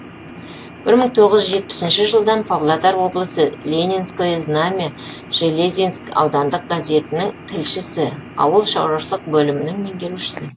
бір мың тоғыз жүз жетпісінші жылдан павлодар облысы ленинское знамя железинск аудандық газетінің тілшісі ауыл шаруашылық бөлімінің меңгерушісі